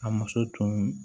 A muso tun